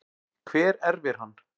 Hver erfir hann?